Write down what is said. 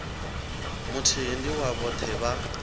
muthihi ndi wa vhoṱhe vha